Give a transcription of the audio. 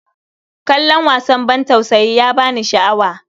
Kallon wasan bantausayi ba ya ba ni sha'awa.